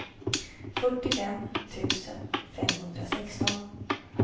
fyrtiofem tusen femhundrasexton